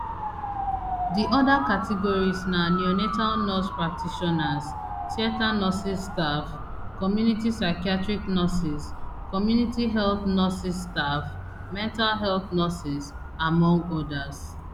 di oda categories na neonatal nurse practitioners theatre nurses staff community psychiatric nurses community health nurses staff mental health nurses among odas